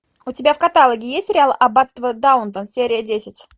у тебя в каталоге есть сериал аббатство даунтон серия десять